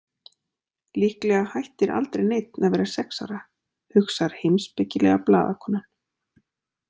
Líklega hættir aldrei neinn að vera sex ára, hugsar heimspekilega blaðakonan.